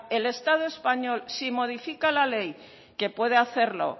el estado español si modifica la ley que puedo hacerlo